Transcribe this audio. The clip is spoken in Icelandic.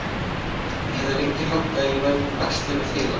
Ég hafði lengi haldið að ég væri með æxli við heila.